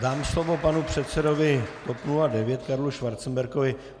Dám slovo panu předsedovi TOP 09 Karlu Schwarzenbergovi.